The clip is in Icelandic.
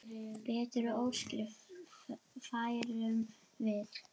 Bestu óskir færum við.